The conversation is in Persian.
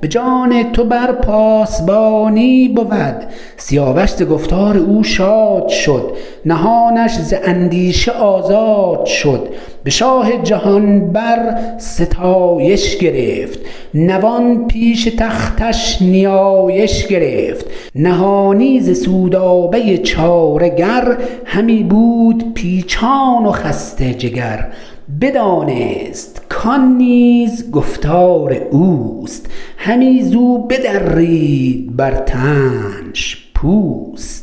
به جان تو بر پاسبانی بود سیاوش ز گفتار او شاد شد نهانش ز اندیشه آزاد شد به شاه جهان بر ستایش گرفت نوان پیش تختش نیایش گرفت نهانی ز سودابه چاره گر همی بود پیچان و خسته جگر بدانست کان نیز گفتار اوست همی زو بدرید بر تنش پوست